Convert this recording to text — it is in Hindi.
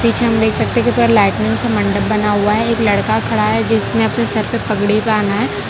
पीछे हम देख सकते हैं कि ऊपर लाइटिंग से मंडप बना हुआ है एक लड़का खड़ा है जिसने अपने सर पे पगड़ी बहाना है।